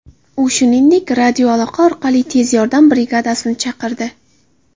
U, shuningdek, radioaloqa orqali tez yordam brigadasini chaqirdi.